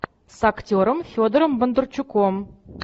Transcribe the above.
с актером федором бондарчуком